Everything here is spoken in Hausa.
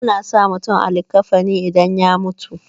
ana sa mutum a likkafani idan ya mutu